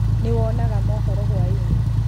nĩwonaga mohoro hwainĩ?